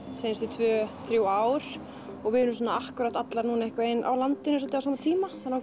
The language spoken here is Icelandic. seinustu tvö þrjú ár og við erum svona akkúrat allar núna einhvern veginn á landinu svolítið á sama tíma þannig